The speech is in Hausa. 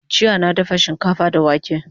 Jjya na dafa shikafa da wake